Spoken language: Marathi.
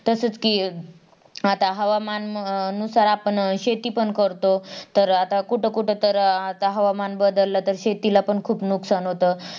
तसच कि आता हवामानानुसार आपण शेतीपण करतो तर आता कुठं कुठं तर आता हवामान बदललतर शेतीलापण खूप नुकसान होत.